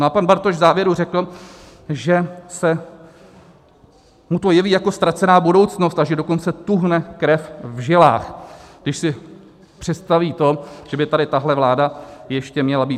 No a pan Bartoš v závěru řekl, že se mu to jeví jako ztracená budoucnost, a že dokonce tuhne krev v žilách, když si představí to, že by tady tahle vláda ještě měla být.